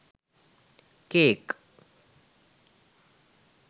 cake